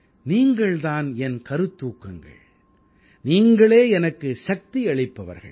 நீங்கள் தான் என் கருத்தூக்கங்கள் நீங்களே எனக்கு சக்தி அளிப்பவர்கள்